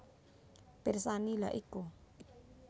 Pirsani lha iku